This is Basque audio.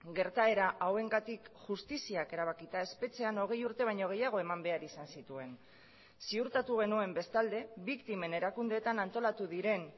gertaera hauengatik justiziak erabakita espetxean hogei urte baino gehiago eman behar izan zituen ziurtatu genuen bestalde biktimen erakundeetan antolatu diren